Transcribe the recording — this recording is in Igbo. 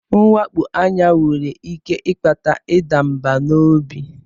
Mwakpo anya nwere ike ịkpata ịda mbà n'obi.